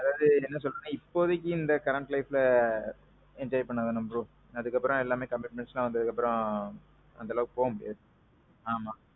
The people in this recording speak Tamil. அதாவது என்ன சொல்றதுன்னா இப்போதைக்கு இந்த current lifeல enjoy பண்ணாதானே bro. அதுக்கு அப்பறோம் commitments எல்லாம் வந்ததுக்கு அப்பறோம் அந்த அளவுக்கு போக முடியாது. ஆமாம்.